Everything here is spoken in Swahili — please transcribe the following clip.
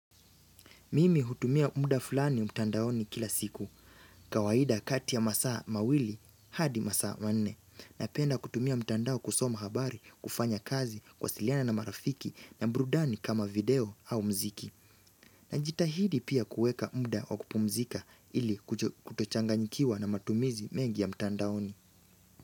Mimi hutumia muda fulani mtandaoni kila siku. Kawaida kati ya masaa mawili hadi masaa manne. Napenda kutumia mtandao kusoma habari, kufanya kazi, kuwasiliana na marafiki na burudani kama video au mziki. Najitahidi pia kuweka muda wa kupumzika ili kutochanganyikiwa na matumizi mengi ya mtandaoni.